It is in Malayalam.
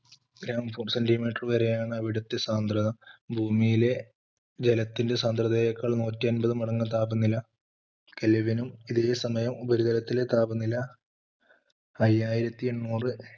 centemeter വരെ ആണ് അവിടുത്തെ സാന്ദ്രത ഭൂമിയിലെ ജലത്തിൻറെ സാന്ദ്രതയേക്കാൾ നൂറ്റിയൻപത് മടങ്ങ് താപനില kevn ഉം ഇതേസമയം ഉപരിതലത്തിലെ താപനില അയ്യായിരത്തി എണ്ണൂറ്,